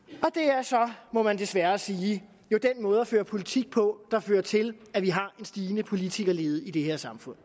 er så må man desværre sige jo den måde at føre politik på der fører til at vi har en stigende politikerlede i det her samfund